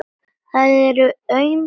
Það eru aum skipti.